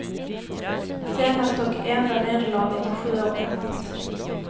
Senaste och enda nederlaget är sju år gammalt.